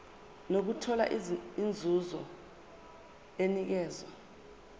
nokuthola inzuzo enikezwa